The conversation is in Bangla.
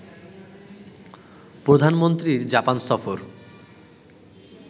প্রধানমন্ত্রীর জাপান সফর